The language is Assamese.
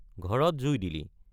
ঘৰত জুই দিলি।